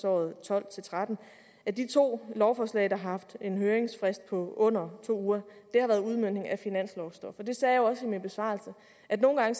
og tolv til tretten at de to lovforslag der har haft en høringsfrist på under to uger har været udmøntning af finanslovsstof og jeg sagde jo også i min besvarelse at nogle gange